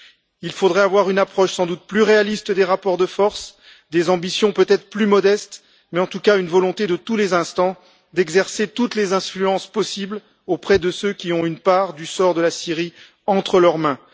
Il faudrait sans doute avoir une approche plus réaliste des rapports de force, des ambitions peut être plus modestes, mais en tout cas une volonté de tous les instants d'exercer toutes les influences possibles auprès de ceux qui ont une part du sort de la Syrie entre leurs mains.